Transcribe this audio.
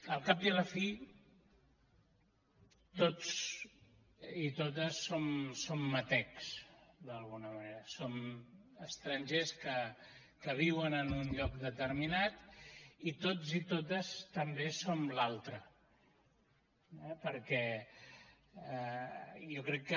al cap i a la fi tots i totes som metecs d’alguna manera som estrangers que viuen en un lloc determinat i tots i totes també som l’altre eh perquè jo crec que